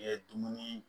Ye dumuni